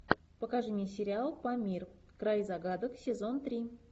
покажи мне сериал памир край загадок сезон три